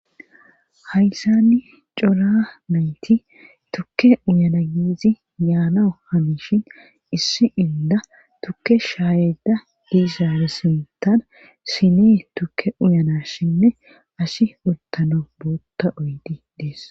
Hayssani cora nayti tukke uyana yiizi yaanao hamishin issi inda tukke shaayeda diisaare sintan sinee tukke uyana shinne asi uttano bootta oydi dees